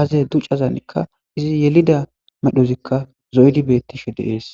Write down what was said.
aaze ducazanikka izi yelida medhozikka zoydi bettishe deees.